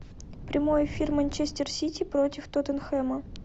прямой эфир манчестер сити против тоттенхэма